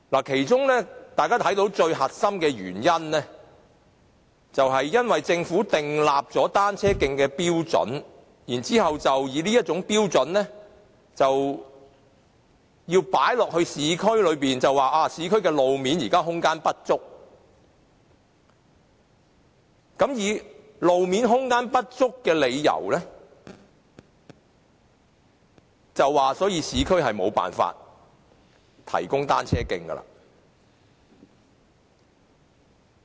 其中大家看到最核心的原因，是政府就單車徑制訂了標準，然後把這標準放諸於市區，指現時市區路面空間不足，並以此為理由，表示無法在市區提供單車徑。